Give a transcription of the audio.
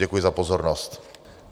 Děkuji za pozornost.